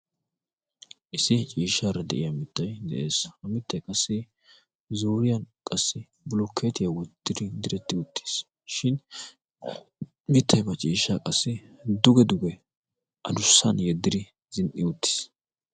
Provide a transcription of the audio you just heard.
issi ciishshaara de'iya mittai de'ees. ha mittai qassi zuuriyan qassi bulukkeetiyaa woddiri diretti uttiis. shin mittai baa ciishsha qassi duge duge adussan yeddiri zin"i uttiis.